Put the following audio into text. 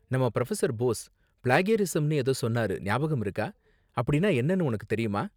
நம்ம புரொஃபசர் போஸ், ப்ளேக்யரிஸம்னு ஏதோ சொன்னாரு ஞாபகம் இருக்கா? அப்படின்னா என்னனு உனக்கு தெரியுமா?